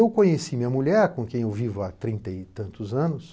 Eu conheci minha mulher, com quem eu vivo há trinta e tantos anos,